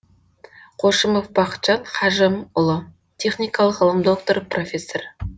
қошымов бақытжан хажымұлы техникалық ғылым докторы профессор